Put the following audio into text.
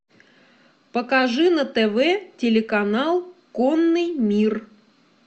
покажи на тв телеканал конный мир